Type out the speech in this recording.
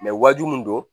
wajibi mun don